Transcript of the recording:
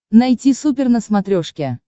найти супер на смотрешке